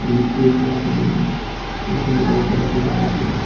ये एक ही आदमी है। एक लुगाई परे कू जा रही है।